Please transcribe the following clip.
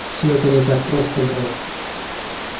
всё это не так просто грег